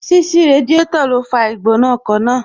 Ṣíṣí Radiátò ló fa Ìgbónájù ọkọ̀ máa